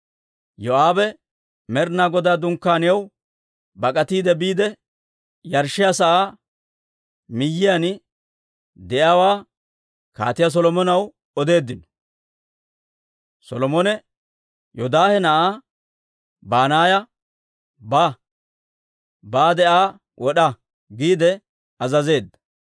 Yoo'aabe Med'inaa Godaa Dunkkaaniyaw bak'atiide biide, yarshshiyaa sa'aa miyiyaan de'iyaawaa Kaatiyaa Solomonaw odeeddino. Solomone Yoodaahe na'aa Banaaya, «Baade Aa wod'a!» giide azazeedda.